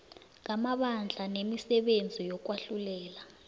ngamabandla nemisebenzi yokwahlulela